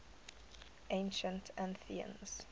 ancient athenians